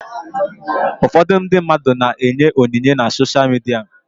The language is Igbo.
Ụfọdụ ndị mmadụ na-enye onyinye na sosha midia.